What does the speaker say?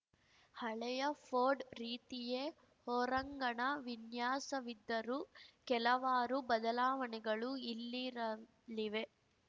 ಹಳೆಯ ಫೋರ್ಡ್‌ ರೀತಿಯೇ ಹೊರಂಗಣ ವಿನ್ಯಾಸವಿದ್ದರೂ ಕೆಲವಾರು ಬದಲಾವಣೆಗಳು ಇಲ್ಲಿರಲಿವೆ